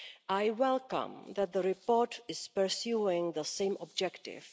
I welcome that the report is pursuing the same objective.